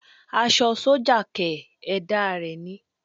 Aṣọ sọ́jà kẹ̀!! Ẹ̀dá rẹ ni